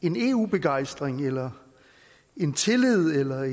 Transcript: en eu begejstring eller en tillid eller